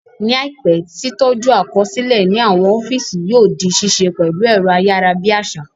Ní àìpé, tí tọ́jú àkọsílẹ̀ ní àwọn ọ́físì yóò di ṣíṣe pẹ̀lú ẹ̀rọ ayárabíàṣá